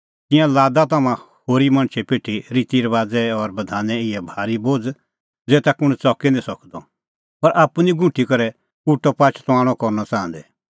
तिंयां लादा तम्हां होरी मणछे पिठी रितीरबाज़े और बधाने इहै भारी बोझ़ै ज़ेता कुंण च़की निं सकदअ पर आप्पू निं गुंठी करै उटअ पाच तुआणअ करनअ च़ाहंदै